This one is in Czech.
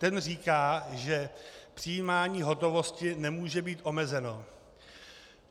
Ten říká, že přijímání hotovosti nemůže být omezeno.